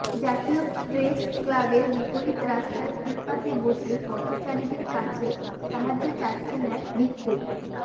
জাতীয় প্রেস ক্লাবের বিপরীত রাস্তার ফুটপাতে বসে পথচারীদের কাছে সাহায্য চাচ্ছেন এক ভিক্ষুক